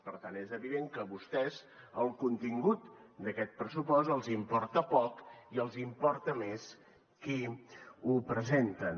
per tant és evident que a vostès el contingut d’aquest pressupost els importa poc i els importa més qui ho presenten